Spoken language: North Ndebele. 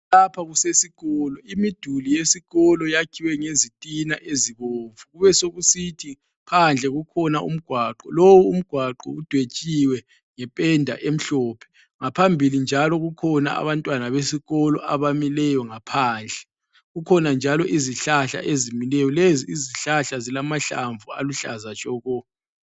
Lapha kusesikolo. Imiduli yesikolo yakhiwe ngezitina ezibomvu, kubesekusithi phandle kukhona umgwaqo. Lowu umgwaqo udwetshiwe ngependa emhlophe. Ngaphambili njalo kukhona abantwana besikolo abamileyo ngaphandle. Kukhona njalo izihlahla ezimileyo. Lezi izihlahla zilamahlamvu aluhlaza tshoko.